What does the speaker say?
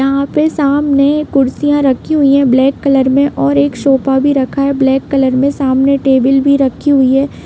यहाँ पे सामने कुर्सियाँ रखी हुई है ब्लैक कलर में और एक शोफा भी रखा है ब्लैक कलर में सामने टेबिल भी रखी हुई है।